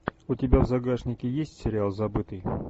у тебя в загашнике есть сериал забытый